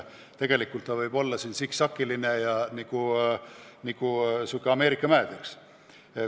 Tegelikult võib see olla siksakiline nagu Ameerika mäed, eks ole.